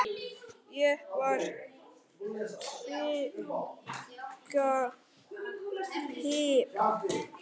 Ég var svaka týpa.